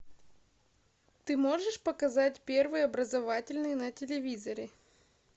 ты можешь показать первый образовательный на телевизоре